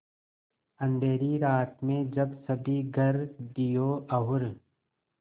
अँधेरी रात में जब सभी घर दियों और